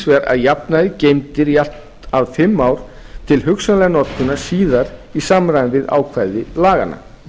vegar að jafnaði geymdir í allt fimm ár til hugsanlegrar notkunar síðar í samræmi við ákvæði laganna